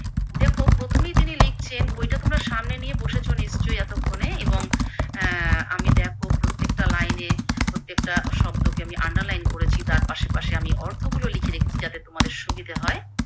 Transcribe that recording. দেখো প্রথমেই তিনি লিখছেন, বইটা তোমরা সামনে নিয়েই বসেছো নিশ্চই এতক্ষনে এবং অ্যা আমি দেখো প্রত্যেকটা লাইনে প্রত্যেকটা শব্দকে আমি Underline করেছি, তার পাশে পাশে আমি অর্থ গুলো লিখে রেখেছি যাতে আমাদের সুবিধা হয়।